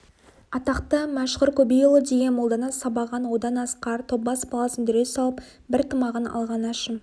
атақты мәшһүр көбейұлы деген молданы сабаған одан асқар тоббас баласына дүре салып бір тымағын алған әшім